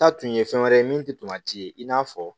Taa tun ye fɛn wɛrɛ ye min tɛ ye i n'a fɔ